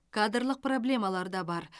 кадрлық проблемалар да бар